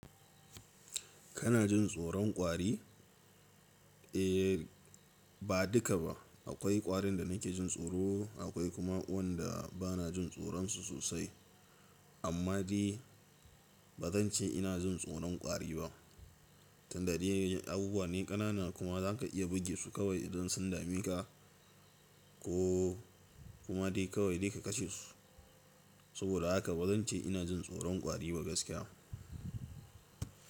Kana jin tsoron ƙwari? Eh ba duka ba. Akwai ƙwarin da nake jin tsoro, akwai kuma wanda bana jin tsoronsu sosai. Amma dai ba zan ce ina jin tsoron ƙwari ba. Tunda dai abubuwa ne ƙanana kuma zaka iya bugesu kawai idan sun dameka ko kuma dai kawai dai ka kashe su. Saboda haka ba zan ce ina jin tsoron kwari ba gaskiya.